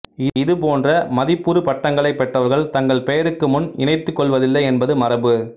இது போன்ற மதிப்புறு பட்டங்களைப் பெற்றவர்கள் தங்கள் பெயருக்கு முன் இணைத்துக் கொள்வதில்லை என்பது மரபு